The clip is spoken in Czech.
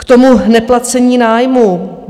K tomu neplacení nájmu.